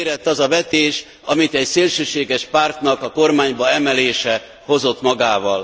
Beérett az a vetés, amit egy szélsőséges pártnak a kormányba emelése hozott magával.